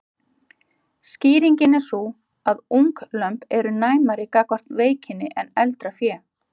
Skýringin er sú að unglömb eru næmari gagnvart veikinni en eldra fé.